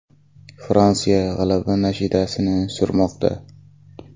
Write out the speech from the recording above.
Fransiya g‘alaba nashidasini surmoqda.